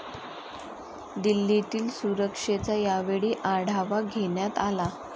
दिल्लीतील सुरक्षेचा यावेळी आढावा घेण्यात आला.